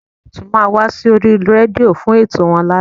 Olóòtú máa wá sórí rédíò fún ètò wọn lálẹ́